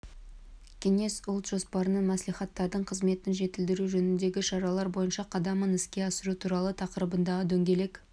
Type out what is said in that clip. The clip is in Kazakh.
кеңес ұлт жоспарының мәслихаттардың қызметін жетілдіру жөніндегі шаралар бойынша қадамын іске асыру туралы тақырыбындағы дөңгелек